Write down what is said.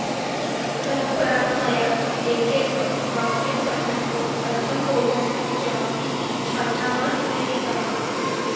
तत् परं मया एकैकं वाक्यं पठन्तु अर्थं बोधन्तु च इति छात्राः निवेदिताः